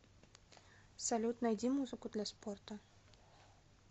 салют найди музыку для спорта